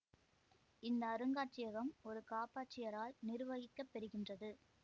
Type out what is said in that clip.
இந்த அருங்காட்சியகம் ஒரு காப்பாட்சியரால் நிருவகிக்கப்பெறுகின்றது